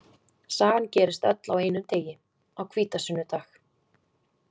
Sagan gerist öll á einum degi, á hvítasunnudag .